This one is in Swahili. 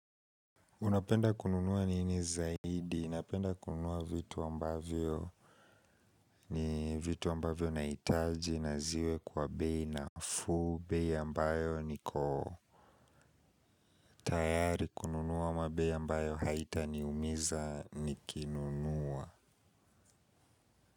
Unapenda kununua nini zaidi? Unapenda kununua vitu ambavyo ni vitu ambavyo naitaji na ziwe kwa bei nafuu bei ambayo nikotayari kununua ama bei ambayo haitaniumiza ni kinunua.